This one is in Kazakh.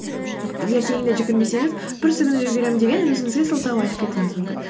ертеңіне жүгірмесеңіз бүрсігүні жүгіремін деген өзіңізге сылтау айтып кетуіңіз мүмкін